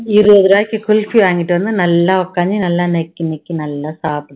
இருவது ரூபாய்க்கு வாங்கிட்டு வந்து நல்லா உக்காந்து நல்லா நக்கி நக்கி நல்லா சாப்புடு